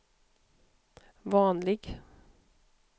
vanlig